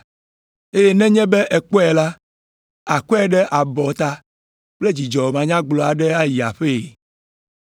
Eye nenye be èkpɔe la, àkɔe ɖe abɔta kple dzidzɔ manyagblɔ aɖe ayi aƒee.